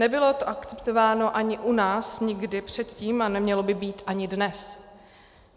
Nebylo to akceptováno ani u nás nikdy předtím a nemělo by být ani dnes.